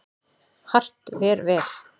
Hart ver vel.